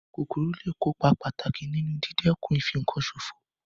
Kòkòrò lé è kópa pàtàkì nínu dídẹ̀kun ìfinkan sòfò